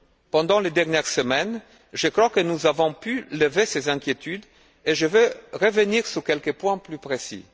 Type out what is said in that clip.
Pendant les dernières semaines, je crois que nous avons pu lever ces inquiétudes et je veux revenir sur quelques points plus précis.